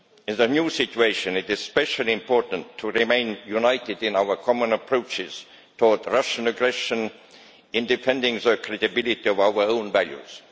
In the new situation it is especially important to remain united in our common approaches toward Russian aggression in defending the credibility of our own values.